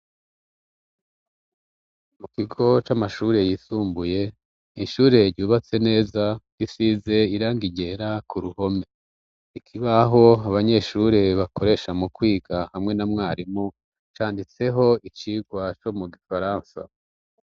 Mu kigo c'amashure yisumbuye, ishure ryubatse neza ,risize irangi ryera ku ruhome ikibaho abanyeshuri bakoresha mu kwiga hamwe na mwarimu, canditseho icigwa co mu gifaransa